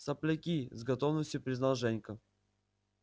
сопляки с готовностью признал женька